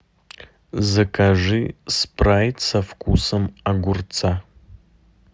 закажи спрайт со вкусом огурца